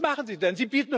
Was machen sie denn?